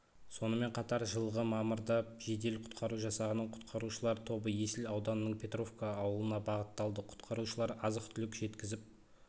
сонымен қатар жылғы мамырда жедел-құтқару жасағының құтқарушылар тобы есіл ауданының петровка ауылына бағытталды құтқарушылар азық-түлік жеткізіп